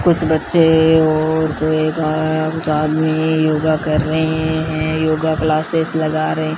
कुछ बच्चे और कोई एक कुछ आदमी योगा कर रहे हैं योगा क्लासेस लगा रहे--